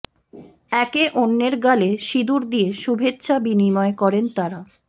একে অন্যের গালে সিঁদুর দিয়ে শুভেচ্ছা বিনিময় করেন তারা